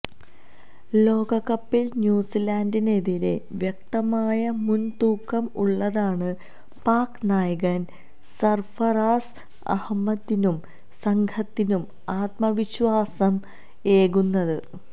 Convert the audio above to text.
ലോകകപ്പില് ന്യൂസിലന്ഡിനെതിരെ വ്യക്തമായ മുന് തൂക്കം ഉള്ളതാണ് പാക് നായകന് സര്ഫറാസ് അഹമ്മദിനും സംഘത്തിനും ആത്മവിശ്വാസം ഏകുന്നത്